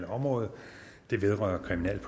om ordet